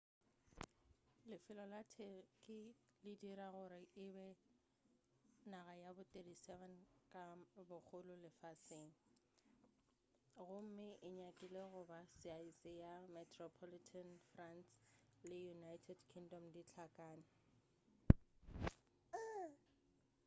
lefelo la turkey le e dira gore e be naga ya bo 37 ka bogolo lefaseng gomme e nyakile goba saese ya metropolitan france le united kingdom di hlakane